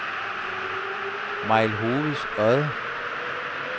Mejlhoveds Odde